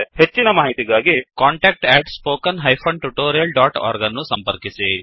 ಹೆಚ್ಚಿನ ಮಾಹಿತಿಗಾಗಿ contactspoken tutorialorg ಅನ್ನು ಸಂಪರ್ಕಿಸಿ